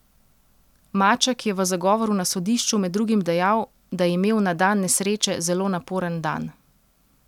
Maček je v zagovoru na sodišču med drugim dejal, da je imel na dan nesreče zelo naporen dan.